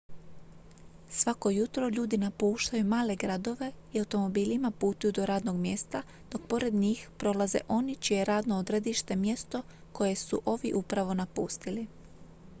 svako jutro ljudi napuštaju male gradove i automobilima putuju do radnog mjesta dok pored njih prolaze oni čije je radno odredište mjesto koje su ovi upravo napustili